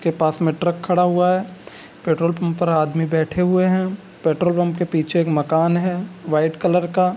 उसके पास में ट्रक खड़ा हुआ है पेट्रोल पंप पर आदमी बैठे हुए हैं पेट्रोल पंप के पीछे एक माकन है वाइट कलर का।